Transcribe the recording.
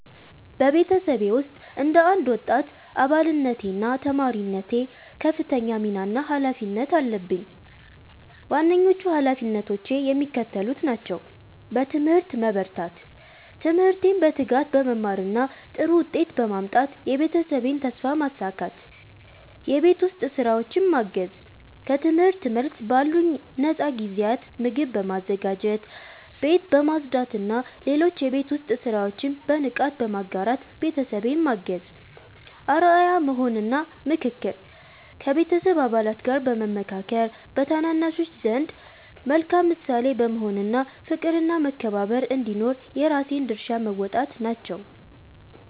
በቤተሰቤ ውስጥ እንደ አንድ ወጣት አባልነቴና ተማሪነቴ ከፍተኛ ሚና እና ኃላፊነት አለብኝ። ዋነኞቹ ኃላፊነቶቼ የሚከተሉት ናቸው፦ በትምህርት መበርታት፦ ትምህርቴን በትጋት በመማርና ጥሩ ውጤት በማምጣት የቤተሰቤን ተስፋ ማሳካት። የቤት ውስጥ ሥራዎችን ማገዝ፦ ከትምህርት መልስ ባሉኝ ነፃ ጊዜያት ምግብ በማዘጋጀት፣ ቤት በማጽዳትና ሌሎች የቤት ውስጥ ሥራዎችን በንቃት በመጋራት ቤተሰቤን ማገዝ። አርአያ መሆን እና ምክክር፦ ከቤተሰብ አባላት ጋር በመመካከር፣ በታናናሾች ዘንድ መልካም ምሳሌ በመሆን እና ፍቅርና መከባበር እንዲኖር የራሴን ድርሻ መወጣት ናቸው።